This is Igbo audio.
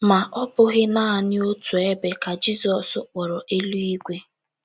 Ma, ọ bụghị naanị otu ebe ka Jizọs kpọrọ “ eluigwe. ”